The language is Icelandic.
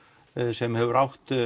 sem hefur átt